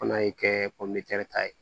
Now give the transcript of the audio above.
Fana ye kɛ ta ye